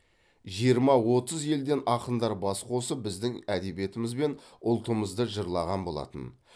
жиырма отыз елден ақындар бас қосып біздің әдебиетіміз бен ұлтымызды жырлаған болатын